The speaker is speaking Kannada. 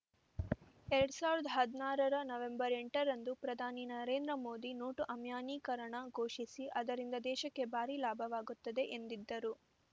ಎರಡ್ ಸಾವಿರದ ಹದನಾರರ ನವೆಂಬರ್ ಎಂಟರಂದು ಪ್ರಧಾನಿ ನರೇಂದ್ರ ಮೋದಿ ನೋಟು ಅಮಾನ್ಯೀಕರಣ ಘೋಷಿಸಿ ಅದರಿಂದ ದೇಶಕ್ಕೆ ಭಾರಿ ಲಾಭವಾಗುತ್ತದೆ ಎಂದಿದ್ದರು